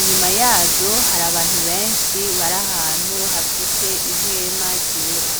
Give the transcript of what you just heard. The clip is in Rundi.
inyuma yazo har’abantu benshi bar’ahantu hafise ihema ryera.